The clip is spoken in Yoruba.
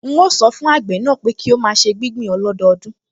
N óò sọ fún àgbẹ̀ náà pé kí ó máa ṣe gbígbìn ọlọ́dọọdún